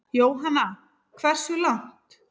Jóhanna: Hversu langt?